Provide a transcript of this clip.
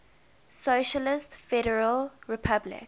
socialist federal republic